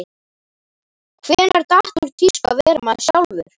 Hvenær datt úr tísku að vera maður sjálfur?